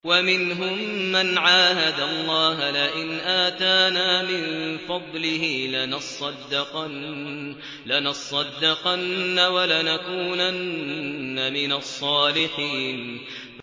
۞ وَمِنْهُم مَّنْ عَاهَدَ اللَّهَ لَئِنْ آتَانَا مِن فَضْلِهِ لَنَصَّدَّقَنَّ وَلَنَكُونَنَّ مِنَ الصَّالِحِينَ